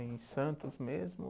Em Santos mesmo?